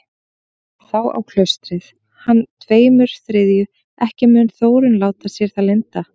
Þá á klaustrið hann að tveimur þriðju, ekki mun Þórunn láta sér það lynda.